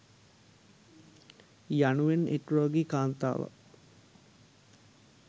යනුවෙන් එක් රෝගී කාන්තාවක්